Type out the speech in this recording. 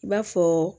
I b'a fɔ